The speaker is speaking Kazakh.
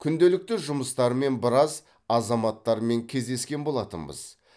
күнделікті жұмыстармен біраз азаматтармен кездескен болатынбыз